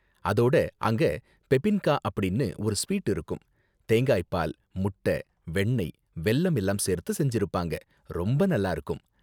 அதோட அங்க பெபின்கா அப்படின்னு ஒரு ஸ்வீட் இருக்கும், தேங்காய் பால், முட்ட, வெண்ணெய், வெல்லம் எல்லாம் சேர்த்து செஞ்சுருப்பாங்க, ரொம்ப நல்லா இருக்கும்.